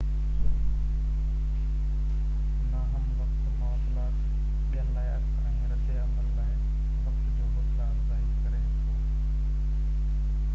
نا هم وقت مواصلات ٻين لاءِ عڪس ۽ رد عمل لاءِ وقت جي حوصلا افزائي ڪري ٿو